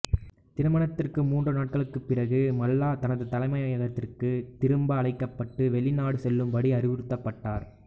திருமணத்திற்கு மூன்று நாட்களுக்குப் பிறகு மல்லா தனது தலைமையகத்திற்கு திரும்ப அழைக்கப்பட்டு வெளிநாடு செல்லும்படி அறிவுறுத்தப்பட்டார்